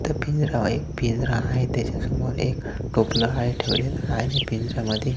त्या पिंजऱ्याव एक पिंजरा आहे त्याच्या समोर एक टोपल आहे ठेवलेल आणि पिंजऱ्या मध्ये--